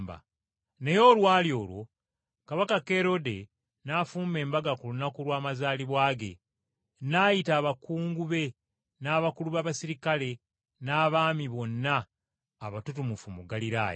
Naye olwali olwo, Kabaka Kerode n’afumba embaga ku lunaku lw’amazaalibwa ge, n’ayita abakungu be n’abakulu b’abaserikale n’abaami bonna abatutumufu mu Ggaliraaya.